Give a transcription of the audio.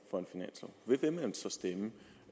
så